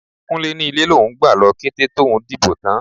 Kúnlé ni ilé lòun gbà lọ kété tòun dìbò tán.